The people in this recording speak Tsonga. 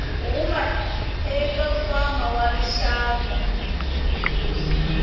huma eka nkwama wa rixaka